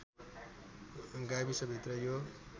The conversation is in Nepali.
गाविसभित्र यो